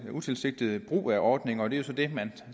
en utilsigtet brug af ordningen og det er jo så det man